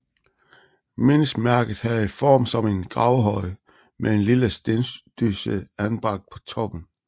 Mindesmærket havde form som en gravhøj med en lille stendysse anbragt på toppen